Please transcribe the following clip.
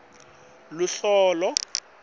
lube njani luhlolo